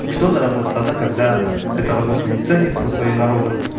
что за работа тогда когда это работа не ценится своим народом